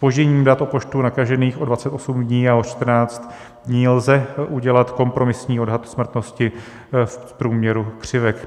Zpožděním dat o počtu nakažených o 28 dní a o 14 dní lze udělat kompromisní odhad smrtnosti v průměru křivek.